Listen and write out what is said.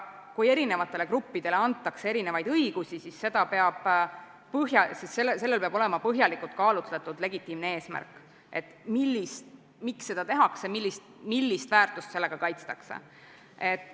Kui erinevatele gruppidele antakse erinevaid õigusi, siis sellel peab olema põhjalikult kaalutletud legitiimne eesmärk, miks seda tehakse, millist väärtust sellega kaitstakse.